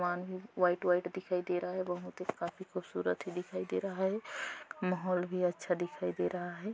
आसमान भी white - white दिखाई दे रहा है बहुत ही काफी खूबसूरत ही दिखाई दे रहा है माहौल भी अच्छा दिखाई दे रहा हैं ।